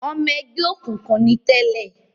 Ọmọ ẹgbẹ́ òkùnkùn ni tẹ́lẹ̀